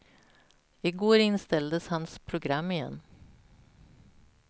I går inställdes hans program igen.